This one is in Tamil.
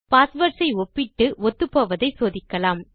பாஸ்வேர்ட்ஸ் ஐ ஒப்பிட்டு ஒத்துப்போவதை சோதிக்கலாம்